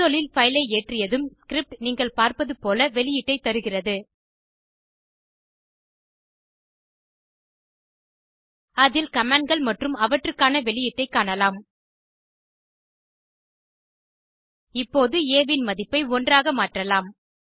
console இல் பைலை ஏற்றியதும் ஸ்கிரிப்ட் நீங்கள் பார்ப்பது போல வெளியீட்டைத் தருகிறது அதில் commandகள் மற்றும் அவற்றுக்கான வெளியீட்டைக் காணலாம் இப்போது ஆ இன் மதிப்பை 1 ஆக மாற்றலாம்